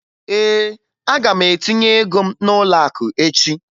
Ee, aga m etinye ago m n'ụlọakụ echi